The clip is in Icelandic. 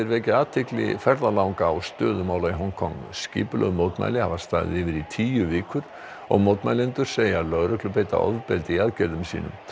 vekja athygli ferðalanga á stöðu mála í Hong Kong skipulögð mótmæli hafa staðið yfir í tíu vikur og mótmælendur segja lögreglu beita ofbeldi í aðgerðum sínum